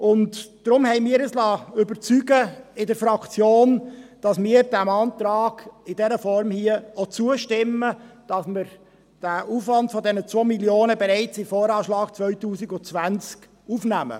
Deshalb hat sich unsere Fraktion überzeugen lassen, diesem Antrag in dieser Form zuzustimmen und den Aufwand von 2 Mio. Franken bereits in den VA 2020 aufzunehmen.